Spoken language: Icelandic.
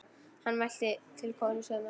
Hann mælti til konu sinnar: